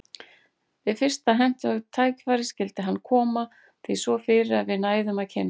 Við fyrsta hentugt tækifæri skyldi hann koma því svo fyrir að við næðum að kynnast.